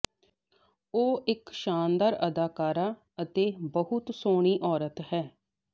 ਉਹ ਇਕ ਸ਼ਾਨਦਾਰ ਅਦਾਕਾਰਾ ਅਤੇ ਬਹੁਤ ਸੋਹਣੀ ਔਰਤ ਹੈ